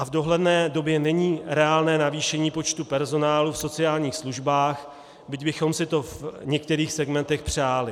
A v dohledné době není reálné navýšení počtu personálu v sociálních službách, byť bychom si to v některých segmentech přáli.